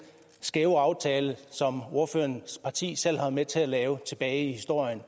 skæve aftale som ordførerens parti selv har været med til at lave tilbage i historien